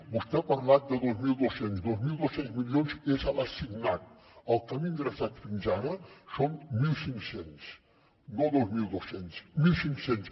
vostè ha parlat de dos mil dos cents milions dos mil dos cents milions és l’assignat el que han ingressat fins ara són mil cinc cents no dos mil dos cents mil cinc cents